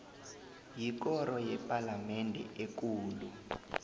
yikoro yepalamende ekulu